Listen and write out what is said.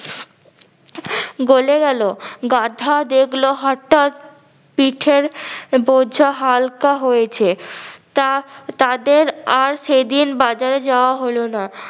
গোলে গেলো গাধা দেখলো হটাৎ পিঠের বোঝা হালকা হয়েছে তা তাদের আর সেদিন বাজারে যাওয়া হলো না